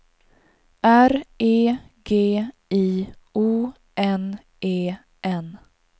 R E G I O N E N